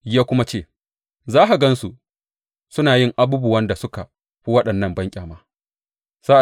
Ya kuma ce, Za ka gan su suna yin abubuwan da suka fi waɗannan banƙyama.